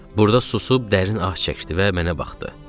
Burada susub, dərin ah çəkdi və mənə baxdı.